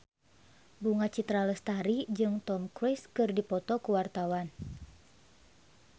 Bunga Citra Lestari jeung Tom Cruise keur dipoto ku wartawan